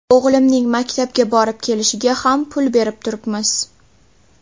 O‘g‘limning maktabga borib kelishiga ham pul berib turibmiz.